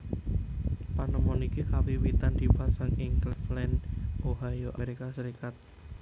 Panemon iki kawiwitan dipasang ing Claveland Ohio Amerika Serikat